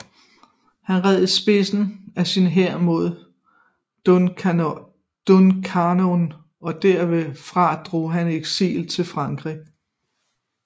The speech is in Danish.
Han red i spidsen af sin hær mod Duncannon og derfra drog han i eksil i Frankrig